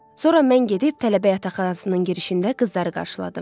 Sonra mən gedib tələbə yataqxanasının girişində qızları qarşıladım.